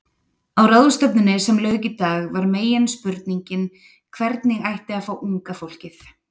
Á ráðstefnunni sem lauk í dag var meginspurningin hvernig ætti að fá unga fólkið?